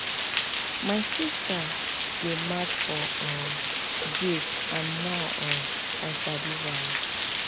my sister dey mad for um break and now um i sabi why